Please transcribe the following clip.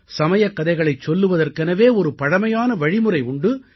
சமயக்கதைகளைச் சொல்வதற்கெனவே ஒரு பழமையான வழிமுறை உண்டு